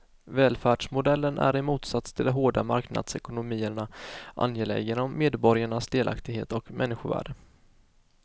Välfärdsmodellen är i motsats till de hårda marknadsekonomierna angelägen om medborgarnas delaktighet och människovärde.